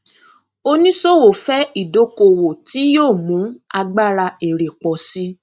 oníṣòwò fẹ ìdókòwò tí yóò mu agbára èrè pọ sí